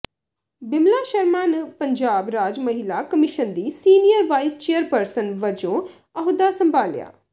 ਬਿਮਲਾ ਸ਼ਰਮਾ ਨ ਪੰਜਾਬ ਰਾਜ ਮਹਿਲਾ ਕਮਿਸ਼ਨ ਦੀ ਸੀਨੀਅਰ ਵਾਇਸ ਚੇਅਰਪਰਸਨ ਵਜੋਂ ਅਹੁਦਾ ਸੰਭਾਲਿਆ